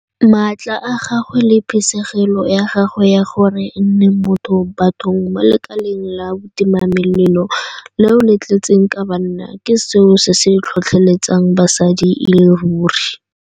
Maatla a gagwe le phisegelo ya gagwe ya gore e nne motho bathong mo lekaleng la botimamelelo leo le tletseng ka banna ke seo se tlhotlheletsang basadi e le ruri.